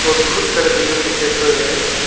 और बहुत सारे बैलून दिखाई पड़ रहा है।